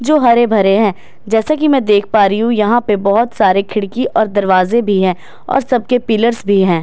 जो हरे भरे हैं जैसे कि मैं देख पा रही हूं यहां पे बहुत सारे खिड़की और दरवाजे भी हैं और सबके पिलर्स भी हैं।